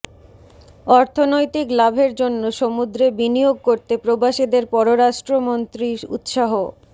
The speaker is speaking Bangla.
অর্থনৈতিক লাভের জন্য সমুদ্রে বিনিয়োগ করতে প্রবাসীদের পররাষ্ট্রমন্ত্রীর উৎসাহ